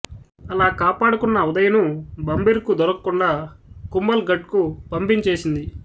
అలా కాపాడుకున్న ఉదయ్ ను బంబిర్ కు దొరకకుండా కుంబల్ గఢ్ కు పంపించేసింది